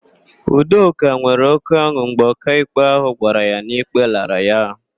Udoka nwere oke ọn̄ụ mgbe ọkaikpe ahụ gwara ya na ikpe lara ya.